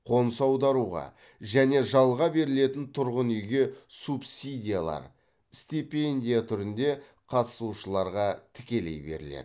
қоныс аударуға және жалға берілетін тұрғын үйге субсидиялар стипендия түрінде қатысушыларға тікелей беріледі